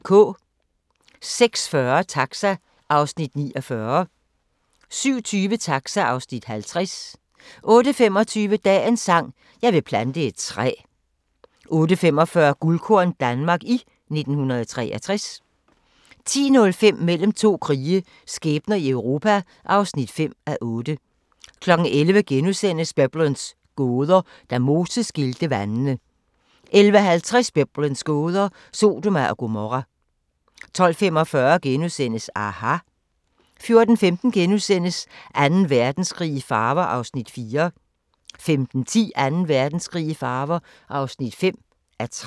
06:40: Taxa (Afs. 49) 07:20: Taxa (Afs. 50) 08:25: Dagens sang: Jeg vil plante et træ 08:45: Guldkorn - Danmark i 1963 10:05: Mellem to krige – skæbner i Europa (5:8) 11:00: Biblens gåder – Da Moses skilte vandene * 11:50: Biblens gåder – Sodoma og Gomorra 12:45: aHA! * 14:15: Anden Verdenskrig i farver (4:13)* 15:10: Anden Verdenskrig i farver (5:13)